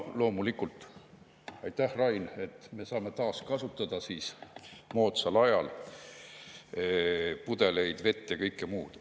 Loomulikult aitäh, Rain, et me saame moodsal ajal taaskasutada pudeleid, vett ja kõike muud.